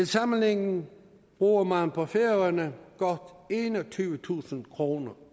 sammenligning bruger man på færøerne godt enogtyvetusind kroner